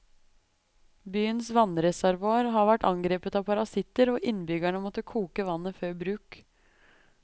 Byens vannreservoar har vært angrepet av parasitter, og innbyggerne måtte koke vannet før bruk.